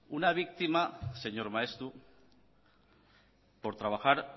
una víctima señor maeztu por trabajar